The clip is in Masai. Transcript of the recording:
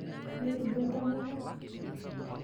Interutua entemata?